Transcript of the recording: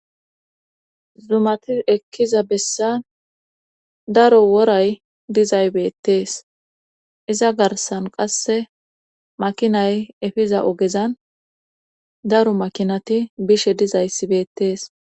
Zumati ekkiza bessa daro woray dizay beettees iza garsan qasse makinay efiza ogezan daro makinati bishe dizayssibeettees.